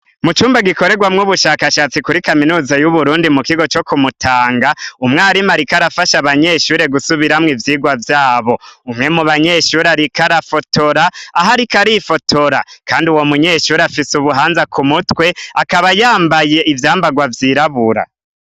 Mucumba gikorerwamwo ubushakashatsi kuri kaminuza yuburundi mukigo co kumutanga umwarimu ariko arafasha abanyeshure gusubiramwo ivyirwa vyabo umwe mubanyeshure ariko arafotora ahariko arifotora kandi uwomunyeshure afise ubuhanza kumutwe akaba yambaye ivyambarwa vyirabura